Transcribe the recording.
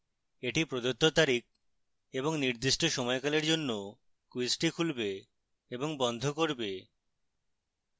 এটি প্রদত্ত তারিখএবং নির্দিষ্ট সময়কালের জন্য ক্যুইজটি খুলবে এবং বন্ধ করবে